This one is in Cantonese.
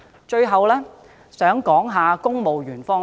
最後，我想談談公務員方面。